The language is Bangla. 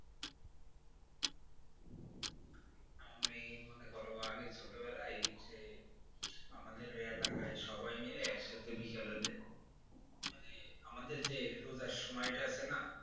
আমি মনে করো আগে ছোট বেলায় যে আমাদের এলাকায় সবাই মিলে একসাথে বিকেল হলে মানে আমাদের যে রোজার সময় টা আছে না?